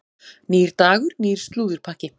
Nýr dagur, nýr slúðurpakki.